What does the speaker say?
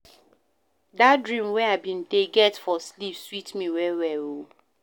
Dat dream wey I bin dey get for sleep sweet me well-well o.